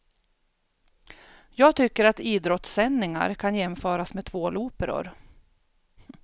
Jag tycker att idrottssändningar kan jämföras med tvåloperor.